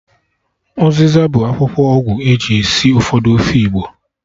Ụzịza bụ akwụkwọ ọgwụ eji esi ụfọdụ ofe igbo